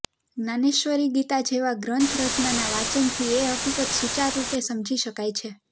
જ્ઞાનેશ્વરી ગીતા જેવા ગ્રંથરત્નના વાચનથી એ હકીકત સુચારુરૂપે સમજી શકાય છે